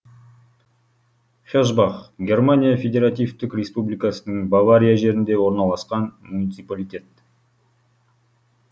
хесбах германия федеративтік республикасының бавария жерінде орналасқан муниципалитет